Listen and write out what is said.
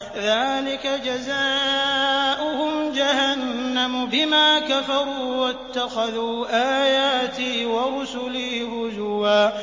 ذَٰلِكَ جَزَاؤُهُمْ جَهَنَّمُ بِمَا كَفَرُوا وَاتَّخَذُوا آيَاتِي وَرُسُلِي هُزُوًا